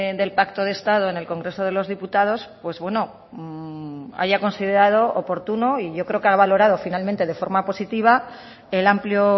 del pacto de estado en el congreso de los diputados pues bueno haya considerado oportuno y yo creo que ha valorado finalmente de forma positiva el amplio